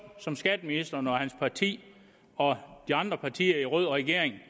som skatteministeren og hans parti og de andre partier i rød regering